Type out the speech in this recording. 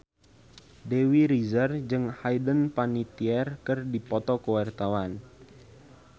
Dewi Rezer jeung Hayden Panettiere keur dipoto ku wartawan